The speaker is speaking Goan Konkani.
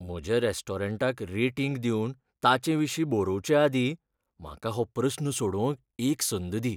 म्हज्या रॅस्टोरंटाक रेटींग दिवन ताचेविशीं बरवचे आदीं म्हाका हो प्रस्न सोडवंक एक संद दी.